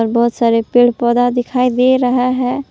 बहुत सारे पेड़ पौधा दिखाई दे रहा है।